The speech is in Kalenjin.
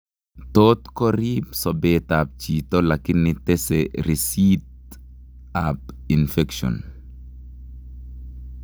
Tot koriib sobeet ab chiito lakini tese risiit ab infection